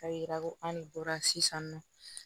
K'a yira ko an ne bɔra sisan nɔ